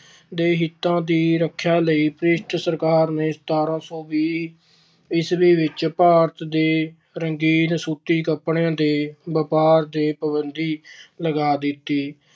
ਦੇ ਹਿੱਤਾਂ ਦੀ ਰੱਖਿਆ ਲਈ British ਸਰਕਾਰ ਨੇ ਸਤਾਰਾਂ ਸੌ ਵੀਹ ਈਸਵੀ ਵਿੱਚ ਭਾਰਤ ਦੇ ਰੰਗੀਨ ਸੂਤੀ ਕੱਪੜਿਆਂ ਦੇ ਵਪਾਰ ਤੇ ਪਾਬੰਦੀ ਲਗਾ ਦਿੱਤੀ।